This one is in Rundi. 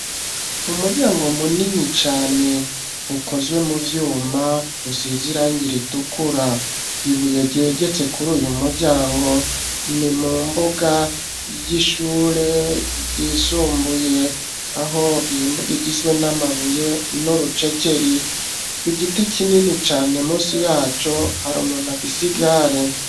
Umuryango munini cane ukozwe mu vyuma usizirangira itukura ibuye giegetse kuri uyu muryango ni mu mbuga y'ishure yisumbuye aho iyi mbuga igizwe n'amabuye n'urucekeri ku giti kinini cane munsi yaco hari umuntu afisigare.